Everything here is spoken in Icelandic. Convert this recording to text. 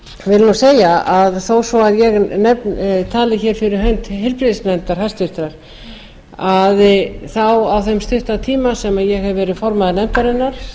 vil segja að þó svo ég tali fyrir hönd háttvirtur heilbrigðisnefndar þá á þeim stutta tíma sem ég hef verið formaður nefndarinnar